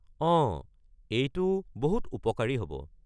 অঁ, এইটো বহুত উপকাৰী হ’ব।